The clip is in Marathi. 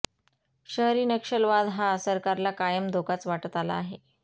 शहरी नक्षलवाद हा सरकारला कायम धोकाच वाटत आला आहे